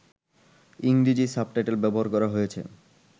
ইংরেজি সাবটাইটেল ব্যবহার করা হয়েছে